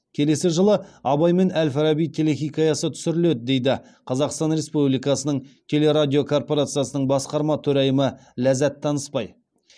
келесі жылы абай мен әл фараби телехикаясы түсіріледі дейді қазақстан республикасының телерадио корпорациясының басқарма төрайымы ләззат танысбай